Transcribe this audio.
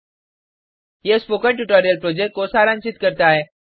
httpspoken tutorialorgWhat is a Spoken Tutorial यह spoken tutorial को सारांशित करता है